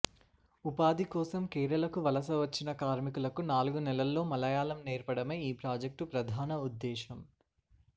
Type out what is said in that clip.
ఉపాధి కోసం కేరళకు వలస వచ్చిన కార్మికులకు నాలుగు నెలల్లో మలయాళం నేర్పడమే ఈ ప్రాజెక్టు ప్రధాన ఉద్దేశం